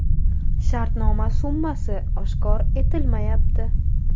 Shartnoma summasi oshkor etilmayapti.